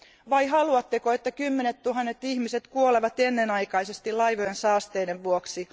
Vai haluatteko, että kymmenettuhannet ihmiset kuolevat ennenaikaisesti laivojen saasteiden vuoksi?